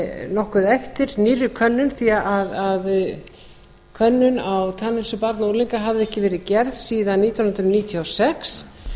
nokkuð eftir nýrri könnun því að könnun á tannheilsu barna og unglinga hafði ekki verið gerð síðan nítján hundruð níutíu og sex